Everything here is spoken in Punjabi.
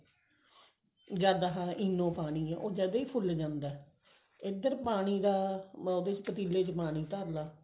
ਜਦ ਇਹ ENO ਪਾਉਣੀ ਹੈ ਉਹ ਜਦ ਹੀ ਫੁੱਲ ਜਾਂਦਾ ਇੱਧਰ ਪਾਣੀ ਦਾ ਪਤੀਲੇ ਚ ਪਾਣੀ ਧਰਲਾ